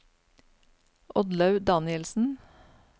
Oddlaug Danielsen